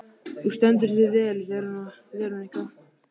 Þú stendur þig vel, Verónika!